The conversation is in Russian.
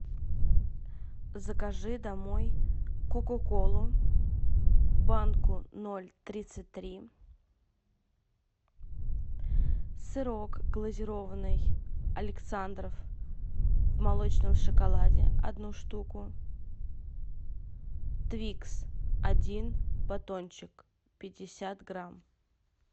закажи домой кока колу банку ноль тридцать три сырок глазированный александров в молочном шоколаде одну штуку твикс один батончик пятьдесят грамм